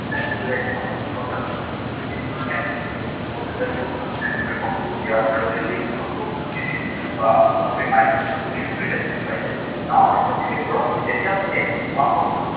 নতুন video লৈ আহিম আপোনালোকৰ কাৰনে, সেইটো কাৰনে আপোনালোকে মোৰ channel টো subscribe কৰিব। ইয়াৰ কাৰনে link টো আপোনালোকক দি দিম বা আপোনালোকে I button টো click কৰিলে পাই যাব। now আমি continue কৰো। এতিয়া আমি চাও আহক